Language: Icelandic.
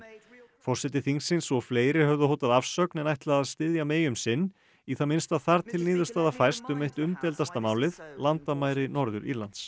forseti þingsins og fleiri höfðu hótað afsögn en ætla að styðja May um sinn í það minnsta þar til niðurstaða fæst um eitt umdeildasta málið landamæri Norður Írlands